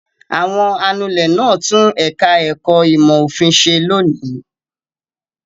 Àwọn anulẹ̀ náà tún ẹ̀ka-ẹ̀kọ́ ìmọ̀-òfin ṣe lónìí.